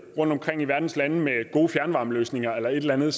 rundtomkring i verdens lande med gode fjernvarmeløsninger eller noget